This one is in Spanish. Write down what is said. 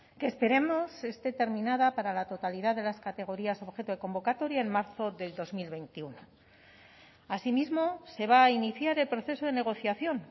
que esperemos que esté terminada para la totalidad de las categorías objeto de convocatoria en marzo del dos mil veintiuno asimismo se va a iniciar el proceso de negociación